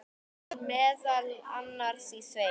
Var meðal annars í sveit.